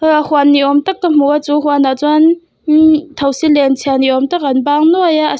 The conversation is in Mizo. ah huan ni awm tak ka hmu a chu huanah chuan thosi len chhia ni awm tak an bang nuai a --